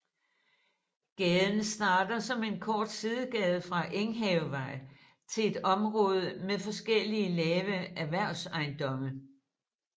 Gaden starter som en kort sidegade fra Enghavevej til et område med forskellige lave erhvervsejendomme